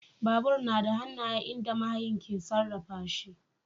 Babur yana da hannaye inda mahayin ke sarrafa shi.